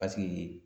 Paseke